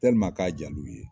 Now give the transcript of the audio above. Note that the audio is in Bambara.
k'a jaa l'u ye.